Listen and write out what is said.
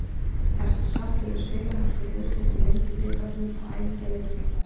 Ertu sáttur við spilamennsku liðsins í Lengjubikarnum og æfingaleikjum til þessa?